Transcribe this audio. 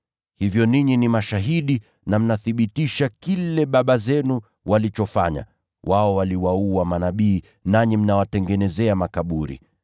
Hivyo ninyi mwashuhudia na mnathibitisha kile baba zenu walichofanya. Wao waliwaua manabii, nanyi mnawajengea makaburi.